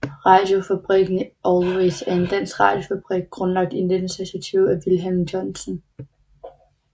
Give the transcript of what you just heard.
Radiofabrikken Always var en dansk radiofabrik grundlagt i 1926 af Wilhelm Johnsen